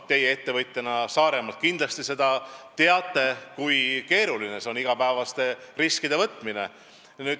Teie ettevõtjana Saaremaalt kindlasti teate, kui keeruline on iga päev riske võtta.